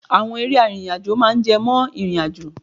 Àwọn eré arìnrìn-àjò máa ń jẹ mọ́ ìrìnàjò.